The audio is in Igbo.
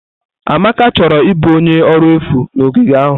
Amaka chọrọ ịbụ onye ọrụ efu na ogige ahụ.